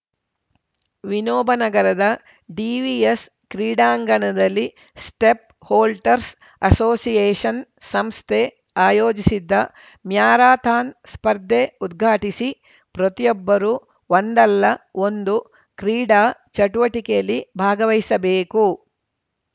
ವಿನೋಬನಗರದ DVS ಕ್ರೀಡಾಂಗಣದಲ್ಲಿ step holders association ಸಂಸ್ಥೆ ಆಯೋಜಿಸಿದ್ದ ಮ್ಯಾರಥಾನ್‌ ಸ್ಪರ್ಧೆ ಉದ್ಘಾಟಿಸಿ ಪ್ರತಿಯೊಬ್ಬರು ಒಂದಲ್ಲ ಒಂದು ಕ್ರೀಡಾ ಚಟುವಟಿಕೆಯಲ್ಲಿ ಭಾಗವಹಿಸಬೇಕು